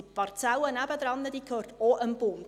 Die Parzelle nebenan gehört auch dem Bund.